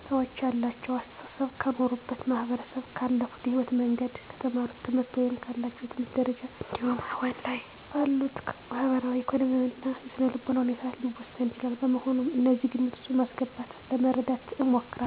ሰወች ያላቸው አሰተሳሰብ ከኖሩበት ማህበረሰብ፣ ካለፉበት የህይወት መንገድ፣ ከተማሩት ትምህርት ወይም ካላቸው የትምህርት ደረጃ እንዲሁም አሁን ላይ ካሉበት ማህበራዊ፣ ኢኮኖሚያዊ እና የስነልቦና ሁኔታ ሊወሰን ይችላል። በመሆኑም እነዚህን ግምት ውስጥ በማስገባት ለመረዳት እሞክራለሁ።